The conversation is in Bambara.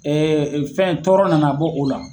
Ɛɛ fɛn tɔɔrɔ nana bɔ o la